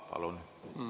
Palun!